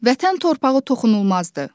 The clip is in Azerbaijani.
Vətən torpağı toxunulmazdır.